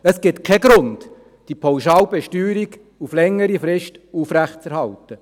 Es gibt keinen Grund, die Pauschalbesteuerung längerfristig aufrechtzuerhalten.